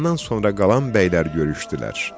Ondan sonra qalan bəylər görüşdülər.